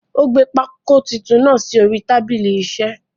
Ó gbé pákó titun náà sórí tábìlì isẹ́.